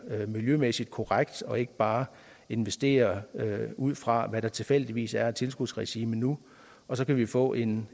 miljømæssigt korrekt og ikke bare investere ud fra hvad der tilfældigvis er af tilskudsregime nu og så kan vi få en